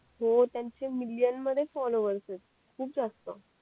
हो त्यांचे मिलिअन्स मध्ये फॉलोवर्स येत खूप जास्त